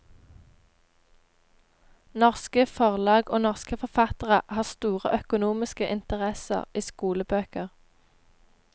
Norske forlag og norske forfattere har store økonomiske interesser i skolebøker.